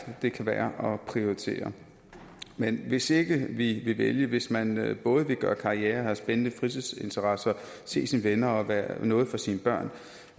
det kan være at prioritere men hvis ikke vi vil vælge hvis man både vil gøre karriere og have spændende fritidsinteresser se sine venner og være noget for sine børn